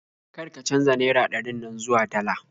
Kar ka canja naira ɗarin nan zuwa dala